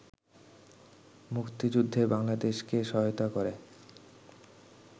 মুক্তিযুদ্ধে বাংলাদেশকে সহায়তা করে